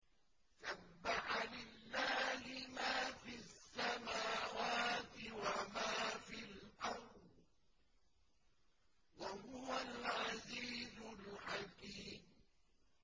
سَبَّحَ لِلَّهِ مَا فِي السَّمَاوَاتِ وَمَا فِي الْأَرْضِ ۖ وَهُوَ الْعَزِيزُ الْحَكِيمُ